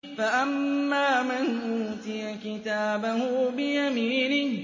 فَأَمَّا مَنْ أُوتِيَ كِتَابَهُ بِيَمِينِهِ